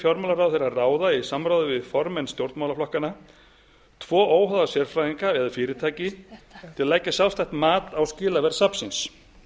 fjármálaráðherra að ráða í samráði við formenn stjórnmálaflokkanna tvo óháða sérfræðinga eða fyrirtæki til að leggja sjálfstætt mat á skilaverð safnsins